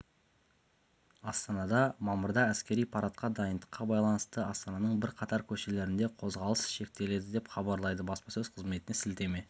астанада мамырда әскери парадқа дайындыққа байланысты астананың бірқатар көшелерінде қозғалыс шектеледі деп хабарлайды баспасөз қызметіне сілтеме